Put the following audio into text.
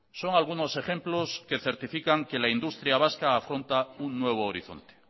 son algunos ejemplos que certifican que la industria vasca afronta un nuevo horizonte